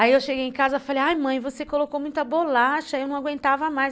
Aí eu cheguei em casa e falei, ai mãe, você colocou muita bolacha, eu não aguentava mais.